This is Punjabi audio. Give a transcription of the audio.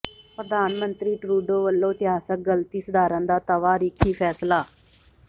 ਪ੍ਰਧਾਨ ਮੰਤਰੀ ਟਰੂਡੋ ਵਲੋਂ ਇਤਿਹਾਸਕ ਗਲਤੀ ਸੁਧਾਰਨ ਦਾ ਤਵਾਰੀਖੀ ਫ਼ੈਸਲਾ